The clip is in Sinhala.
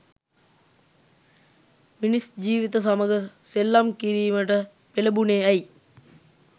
මිනිස් ජීවිත සමග සෙල්ලම් කිරීමට පෙලඹුණේ ඇයි?